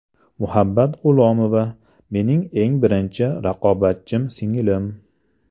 Muhabbat G‘ulomova: Mening eng birinchi raqobatchim singlim.